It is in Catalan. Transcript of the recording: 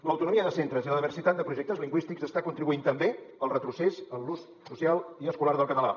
l’autonomia de centres i la diversitat de projectes lingüístics està contribuint també al retrocés en l’ús social i escolar del català